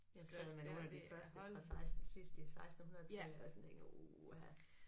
Jeg sad med nogle af de første fra 16 sidst i sekstenhundredetallet altså tænker uha